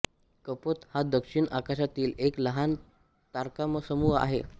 कपोत हा दक्षिण आकाशातील एक लहान तारकासमूह आहे